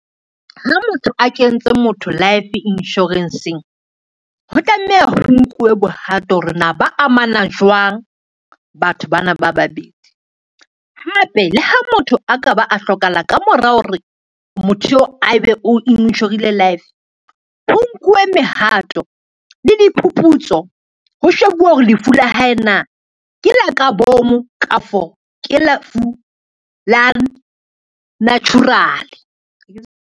Ha motho a kentse motho life insurance-ng, ho tlameha ho nkuwe bohato hore na ba amana jwang, batho bana ba babedi. Hape le ha motho a ka ba a hlokahala ka mora hore motho eo a ebe o inshorile life ho nkuwe mehato le diphuputso ho shebuwe hore lefu la hae na ke la ka bomo, kafo ke lefu la natural.